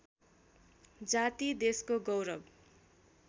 जाति देशको गौरव